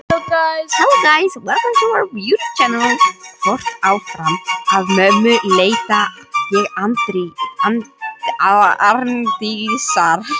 Hvött áfram af mömmu leita ég Arndísar.